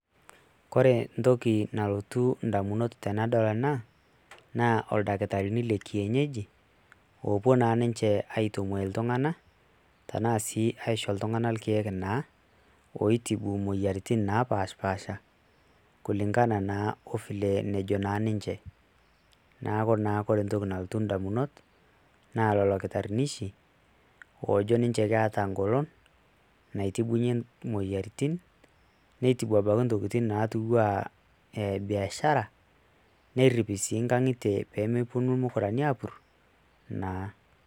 Kore entoki nalotu indamunot tenadol ena, naa ildakitarini lekienyeji, opuo na ninche aitumoi iltung'anak, tenaa si aisho ltung'anak irkeek naa, oitibu moyiaritin napashipasha, kulingana naa o vile nejo naa ninche. Naaku naa kore entoki nalotu indamunot, naa lolo kitarrinishi, ojo ninche keeta golon, naitibunye moyiaritin, neitibu apake ntokiting natiu ah e biashara, nerrip si nkang'itie pemeponu irmukurani apur, naa.